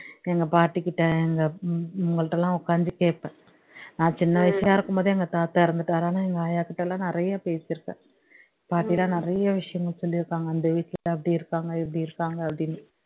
எங்க பாட்டி கிட்ட எங்க இவங்ககிட்டலாம் உட்கார்ந்து கேட்பேன் நான் சின்ன வயசா இருக்கும் போது எங்க தாத்தா இறந்துட்டாரு ஆனா எங்க ஆய்யா கிட்டலாம் நிறைய பேசி இருக்கேன் பாட்டிலாம் நிறைய விஷயங்கள் சொல்லி இருக்காங்க அந்த வீட்டுல அப்படி இருக்காங்க இப்படி இருக்காங்க அப்படின்னு